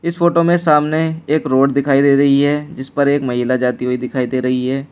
इस फोटो में सामने एक रोड दिखाई दे रही है जिस पर एक महिला जाती हुई है दिखाई दे रही है।